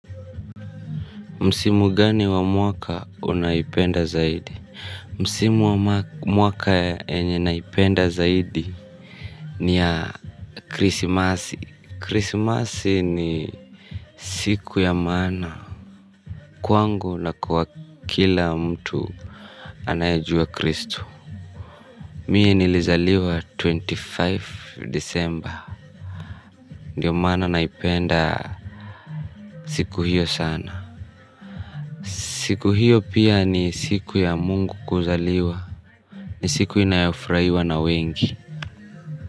Msimu gani wa mwaka unaipenda zaidi? Msimu wa mwaka yenye naipenda zaidi ni ya krisimasi. Krisimasi ni siku ya maana kwangu na kwa kila mtu anayejua kristu. Mie nilizaliwa ishirini na tano disemba. Ndio maana naipenda siku hiyo sana. Siku hiyo pia ni siku ya mungu kuzaliwa. Ni siku inayofurahiwa na wengi.